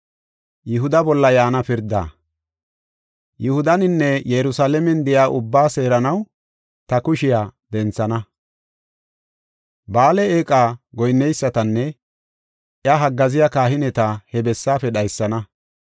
“Yihudaninne Yerusalaamen de7iya ubbaa seeranaw ta kushiya denthana. Ba7aale eeqa goyinneysatanne iya haggaaziya kahineta he bessaafe dhaysana.